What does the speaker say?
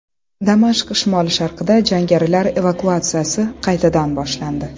Damashq shimoli-sharqida jangarilar evakuatsiyasi qaytadan boshlandi.